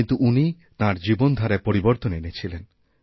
কিন্তু উনি তাঁর জীবন ধারায়পরিবর্তন এনেছিলেন